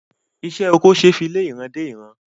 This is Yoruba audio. Isé oko ṣe fí lé ìran dé ìran